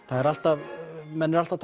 það er alltaf menn eru alltaf